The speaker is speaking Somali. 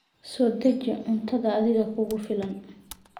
Soo deji cuntada adiga kugu filan.